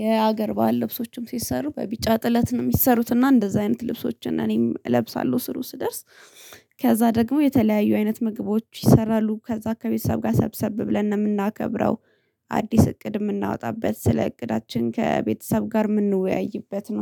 የሀገር ባህል ልብሶችም ሲሰሩ በቢጫ ጥለት ነው የሚሰሩት እና እንደዛ አይነት ልብሶችን እኔም እለብሳለሁ ስሩ ስደርስ። ከዛ ደግሞ የተለያዩ አይነት ምግቦች ይሰራሉ ከዛ ከቤተሰብ ጋር ሰብሰብ ብለን እንደምናከብረው። አዲስ እቅድ የምናወጣበት ስለ እቅዳችን ከቤተሰብ ጋር የምንወያይበት ነው